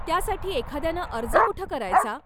त्यासाठी एखाद्यानं अर्ज कुठं करायचा?